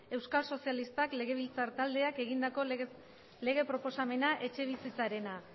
euskal sozialistak legebiltzar taldeak egindako lege proposamena etxebizitzarena